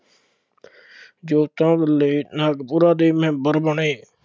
ਜੋਤੀਬਾ ਫੂਲੇ ਨਾਗਪੁਰਾ ਦੇ ਮੈਂਬਰ ਬਣੇ,